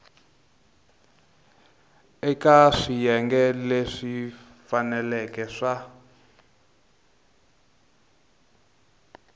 eka swiyenge leswi faneleke swa